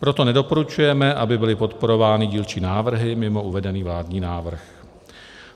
Proto nedoporučujeme, aby byly podporovány dílčí návrhy mimo uvedený vládní návrh.